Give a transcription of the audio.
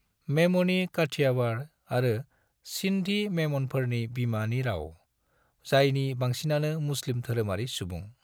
मेमोनी काठियावाड़ आरो सिंधी मेमनफोरनि बिमानि राव, जायनि बांसिनानो मुस्लिम धोरोमारि सुबुं।